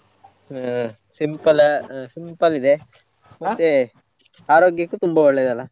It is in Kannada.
ಹ simple ಆ simple ಇದೆ ಆರೋಗ್ಯಕ್ಕೂ ತುಂಬಾ ಒಳ್ಳೇದು ಅಲ್ಲ.